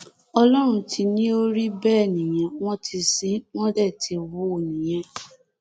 ọlọrun ti ní ó rí bẹẹ nìyẹn wọn ti sin ín wọn dé ti hù ú nìyẹn